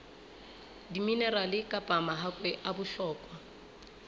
diminerale kapa mahakwe a bohlokwa